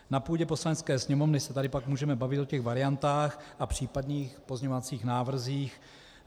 Na půdě Poslanecké sněmovny se tady pak můžeme bavit o těch variantách a případných pozměňovacích návrzích.